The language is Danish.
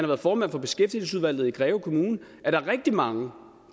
været formand for beskæftigelsesudvalget i greve kommune at der er rigtig mange